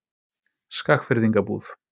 Skagfirðingabúð